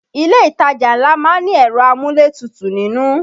Ilé ìtajà ńlá má ń ní ẹ̀rọ amúlétutù nínú